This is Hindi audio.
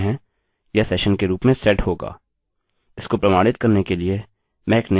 इसको प्रमाणित करने के लिए मैं एक नया पेज बनाऊँगा